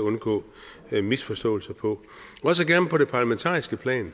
undgå misforståelser på også gerne på det parlamentariske plan